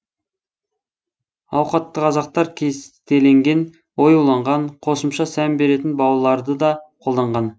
ауқатты қазақтар кестеленген оюланған қосымша сән беретін бауларды да қолданған